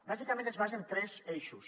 bàsicament es basa en tres eixos